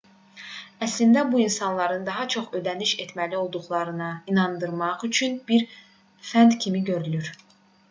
əslində bu insanları daha çox ödəniş etməli olduqlarına inandırmaq üçün bir fənd kimi görünür